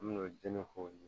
An me n'o diinɛ kow ye